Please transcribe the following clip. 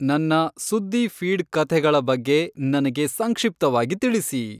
ನನ್ನ ಸುದ್ದಿ ಫೀಡ್ ಕಥೆಗಳ ಬಗ್ಗೆ ನನಗೆ ಸಂಕ್ಷಿಪ್ತವಾಗಿ ತಿಳಿಸಿ